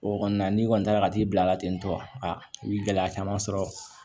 O kɔni na n'i kɔni taara ka t'i bila ten tɔ i bi gɛlɛya caman sɔrɔ